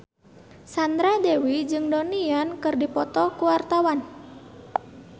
Sandra Dewi jeung Donnie Yan keur dipoto ku wartawan